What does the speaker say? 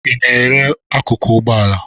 Ị na-ere akụkụ ụgbọala?